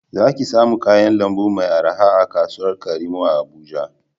Za ki samu kayan lambu mai araha a kasuwar karimo a Abuja